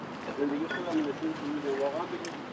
Deyirəm bu sözdə vaqaət deyil.